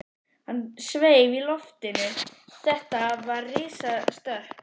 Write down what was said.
Hann sveif í loftinu, þetta var risastökk!